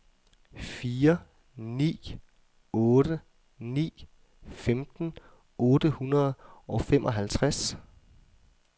fire ni otte ni femten otte hundrede og femoghalvtreds